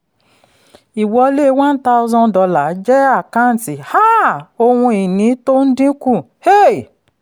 ìwọlé one thousand dollar jẹ́ àkáǹtí um ohun ìní tó ń dínkù. um